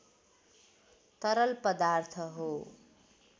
तरल पदार्थ हो